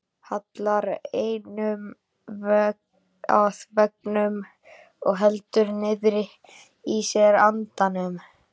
Hallar enninu að veggnum og heldur niðri í sér andanum.